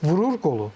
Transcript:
Vurur qolu.